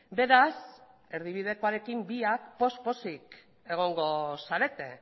beraz erdibidekoarekin biak poz pozik egongo zarete